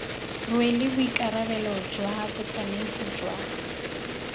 rwele boikarabelo jwa botsamaisi jwa